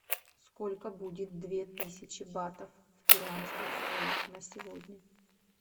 сколько будет две тысячи батов в перуанских солях на сегодня